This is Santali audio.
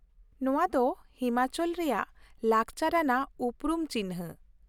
ᱱᱚᱶᱟ ᱫᱚ ᱦᱤᱢᱟᱪᱚᱞ ᱨᱮᱭᱟᱜ ᱞᱟᱠᱪᱟᱨ ᱟᱱᱟᱜ ᱩᱯᱨᱩᱢ ᱪᱤᱱᱷᱟᱹ ᱾